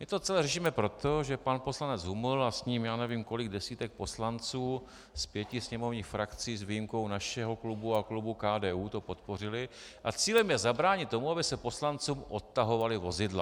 My to celé řešíme proto, že pan poslanec Huml a s ním já nevím kolik desítek poslanců z pěti sněmovních frakcí s výjimkou našeho klubu a klubu KDU to podpořili, a cílem je zabránit tomu, aby se poslancům odtahovala vozidla.